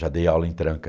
Já dei aula em tranca.